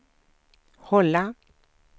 hålla